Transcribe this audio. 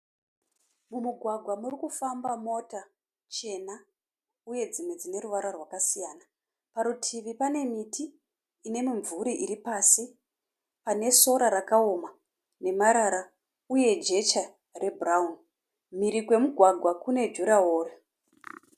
Mumugwagwa murikufamba mota chena uye dzimwe dzine ruvara rwakasiyana. Parutivi pane miti ine mimvuri iri pasi, pane sora rakaoma nemarara uye jecha rebhurauni. Mhiri kwemugwagwa kune juraworo.